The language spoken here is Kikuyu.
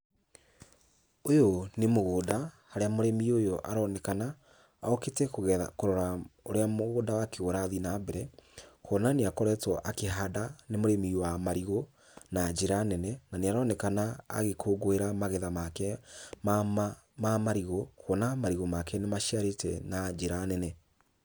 Ũyũ nĩ mũgũnda, harĩa mũrĩmi ũyũ aronekana okĩte kũgetha, kũrora ũrĩa mũgũnda wake ũrathiĩ na mbere, kuona nĩakoretwo akĩhanda, nĩ mũrĩmi wa marigũ na njĩra nene, na nĩaronekana agĩkũngũĩra magetha make ma marigũ, kuona marigũ make nĩmaciarĩte na njĩra nene.